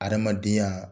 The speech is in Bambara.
Adamadenya